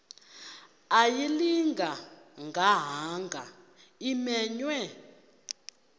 ayilinga gaahanga imenywe